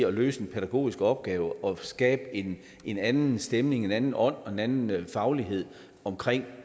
at løse en pædagogisk opgave og skabe en anden stemning en anden ånd og en anden faglighed om